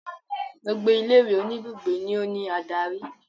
Gbogbo ilé ìwé oníbùgbé ni ó ní adarí.